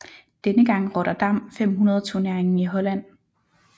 Denne gang Rotterdam 500 turneringen i Holland